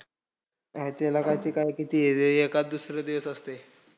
काय त्याला काय ते काय किती एखादं दुसरं देत असतंय.